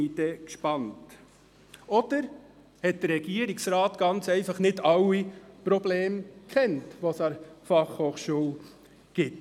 Oder hat der Regierungsrat ganz einfach nicht alle Probleme gekannt, welche an der BFH bestehen?